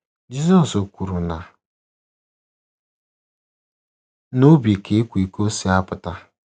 Jizọs kwuru na ‘ n’obi ka ịkwa iko si apụta. ’